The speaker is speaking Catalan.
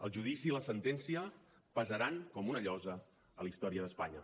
el judici i la sentència pesaran com una llosa a la història d’espanya